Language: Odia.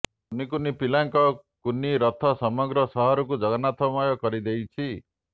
କୁନି କୁନି ପିଲାଙ୍କ କୁନି ରଥ ସମଗ୍ର ସହରକୁ ଜଗନ୍ନାଥମୟ କରିଦେଇଛି